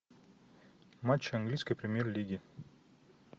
матч английской премьер лиги